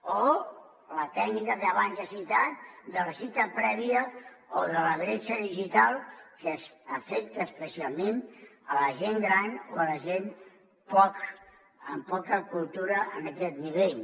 o la tècnica que abans he citat de la cita prèvia o de la bretxa digital que afecta especialment la gent gran o la gent amb poca cultura en aquest nivell